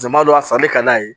Jama dɔ a san bɛ ka d'a ye